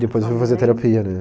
Depois eu fui fazer terapia, né?